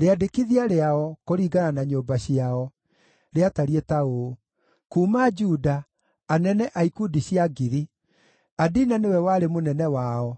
Rĩandĩkithia rĩao, kũringana na nyũmba ciao, rĩatariĩ ta ũũ: Kuuma Juda, anene a ikundi cia 1,000: Adina nĩwe warĩ mũnene wao,